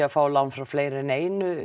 að fá lán frá fleiri en einu